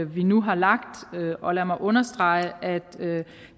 vi nu har lagt og lad mig understrege at